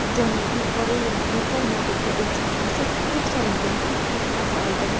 Janubiy Koreyaning Yaponiyadagi elchixonasi o‘q solingan tahdid xati oldi.